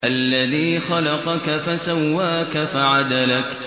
الَّذِي خَلَقَكَ فَسَوَّاكَ فَعَدَلَكَ